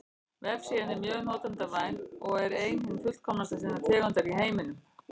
Vefsíðan er mjög notendavæn og er ein hin fullkomnasta sinnar tegundar í heiminum.